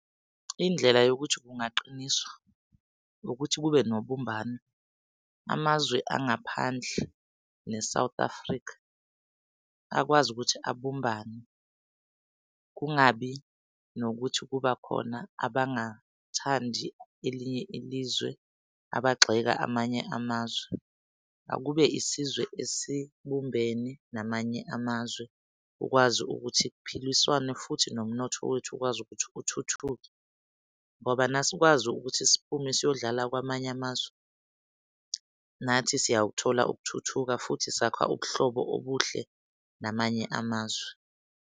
Indlela yokuthi kungaqiniswa ukuthi kube nobumbano. Amazwe angaphandle ne-South Africa akwazi ukuthi abumbane kungabi nokuthi kuba khona abangathandi elinye ilizwe abagxeka amanye amazwe. Akube isizwe ezibumbene namanye amazwe ukwazi ukuthi kuphiliswane futhi nomnotho wethu ukwazi ukuthi uthuthuke. Ngobana asikwazi ukuthi siphume siyodlala kwamanye amazwe nathi siyakuthola ukuthuthuka futhi sakha ubuhlobo obuhle namanye amazwe.